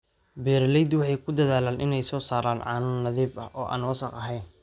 Beeraleydu waxay ku dadaalaan inay soo saaraan caano nadiif ah oo aan wasakh ahayn.